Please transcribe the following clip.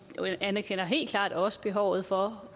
anerkender helt klart også behovet for